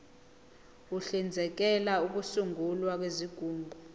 uhlinzekela ukusungulwa kwezigungu